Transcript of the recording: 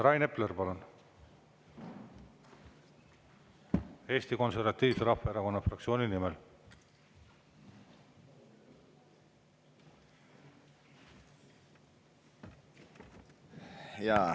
Rain Epler, palun, Eesti Konservatiivse Rahvaerakonna fraktsiooni nimel!